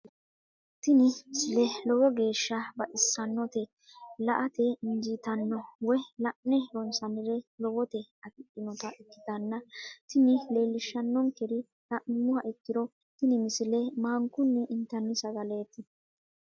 tini misile lowo geeshsha baxissannote la"ate injiitanno woy la'ne ronsannire lowote afidhinota ikkitanna tini leellishshannonkeri la'nummoha ikkiro tini misile maankunni intanni sagaleeti.